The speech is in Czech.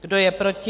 Kdo je proti?